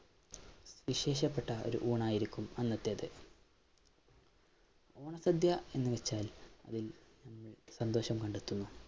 വിശേഷപ്പെട്ട ഒരു ഊണായിരിക്കും അന്നത്തേത് ഓണ സദ്യ എന്നുവച്ചാൽ അതിൽ നമ്മൾ സന്തോഷം കണ്ടെത്തുന്നു.